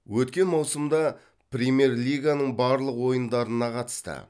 өткен маусымда премьер лиганың барлық ойындарына қатысты